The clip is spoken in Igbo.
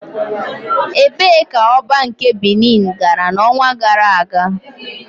Ebee ka Oba nke Binin gara n'ọnwa gara aga?